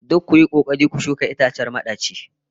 Duk kuyi kokari ku shuka itacen madaci